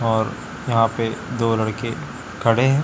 और यहां पे दो लड़के खड़े हैं।